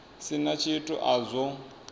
si na tshithu a zwo